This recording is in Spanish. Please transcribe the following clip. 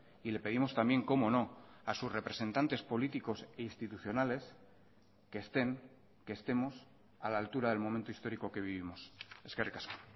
y le pedimos también cómo no a sus representantes políticos institucionales que estén que estemos a la altura del momento histórico que vivimos eskerrik asko